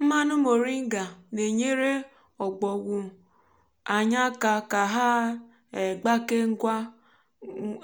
mmanụ moringa na-enyere òbògwù anyị aka ka ha um gbakee ngwa um